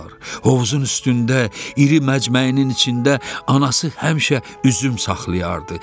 Hovuzun üstündə iri məcməyinin içində anası həmişə üzüm saxlayardı.